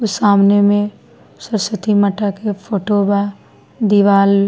वो सामने में सरसती माटा के फोटो बा दीवाल --